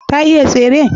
ta iya tsere?